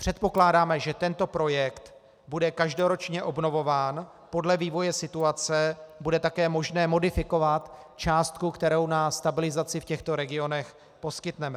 Předpokládáme, že tento projekt bude každoročně obnovován, podle vývoje situace bude také možné modifikovat částku, kterou na stabilizaci v těchto regionech poskytneme.